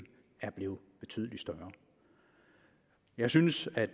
er blevet betydelig større jeg synes at